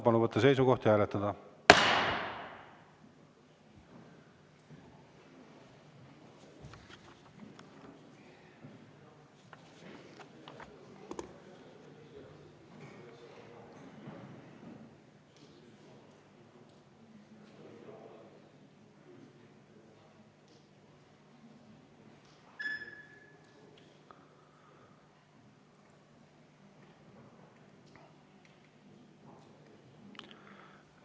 Palun võtta seisukoht ja hääletada!